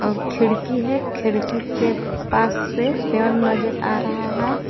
और खिड़की है खिड़की के पास से पेड़ नजर आ रहा है।